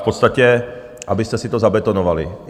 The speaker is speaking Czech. V podstatě, abyste si to zabetonovali.